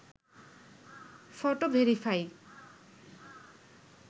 photo verify